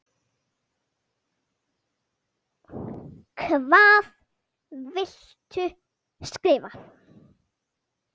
Hvað viltu skrifa?